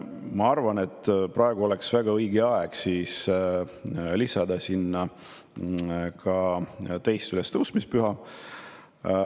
Ma arvan, et praegu oleks väga õige aeg lisada sinna ka 2. ülestõusmispüha.